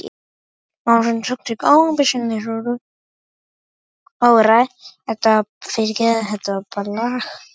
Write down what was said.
Ræða rektors